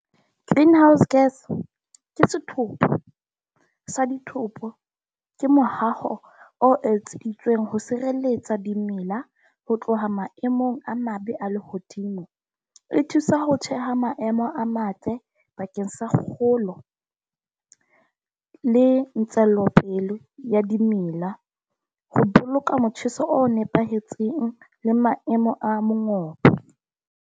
Greenhouse gas ke setopo sa ditopo. Ke mohao o ho sireletsa dimela ho tloha maemong a mabe a lehodimo, e thusa ho tjheha maemo a matle bakeng sa kgolo le tswelopele ya dimela ho boloka motjheso o nepahetseng le maemo a mangope .